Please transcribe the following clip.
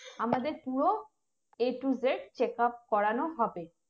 আমাদের পুরো A to Z checkup করানো হবে